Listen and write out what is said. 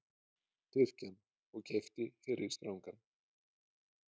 Tyrkjann og keypti fyrri strangann.